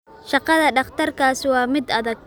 Shaqada dhakhtarkaasi waa mid adag